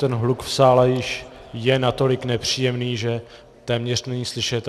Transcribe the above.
Ten hluk v sále již je natolik nepříjemný, že téměř není slyšet.